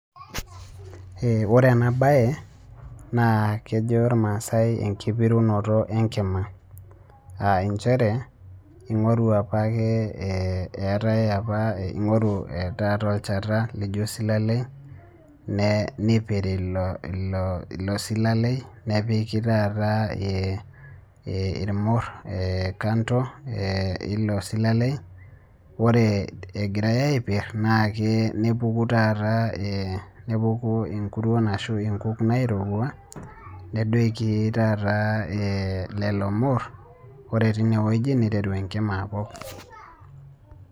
ee ore ena bae ,naa kejo ilmaasae enkipirunoto enkima, aa nchere ing'oru apake eetae, apa ingoru taata olchata, lijo osilalei nipiri ilo, silaleli, nepiki taata ee eilmur kanto eilo silalei. ore egirae aipiir naa ke, nepuku taata, nepuku inkuruon ashu inkuk naairowua, nedoiki taata lelo, mur ore teine wueji neiteru enkima apok.